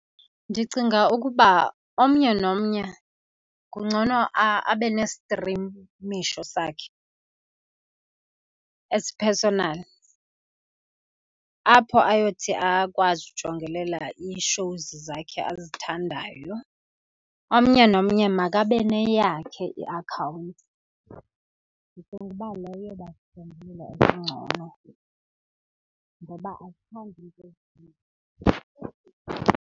Ndicinga ukuba omnye nomnye kungcono abe nestrimisho sakhe esi-personal, apho ayokuthi akwazi ukujongelela ii-shows zakhe azithandayo. Omnye nomnye makabe neyakhe iakhawunti engcono ngoba asithandi .